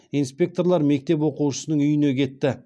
инспекторлар мектеп оқушысының үйіне кетті